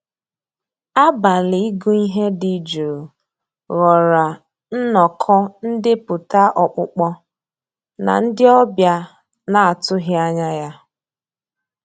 Àbàlí ị́gụ́ íhé dị́ jụ́ụ́ ghọ́ọ́rà nnọ́kọ́ ndépụ́tà ọ́kpụ́kpọ́ ná ndị́ ọ̀bịá ná-àtụ́ghị́ ànyá yá.